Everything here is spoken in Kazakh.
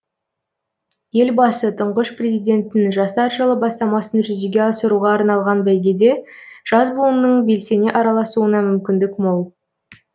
елбасы тұңғыш президенттің жастар жылы бастамасын жүзеге асыруға арналған бәйгеде жас буынның белсене араласуына мүмкіндік мол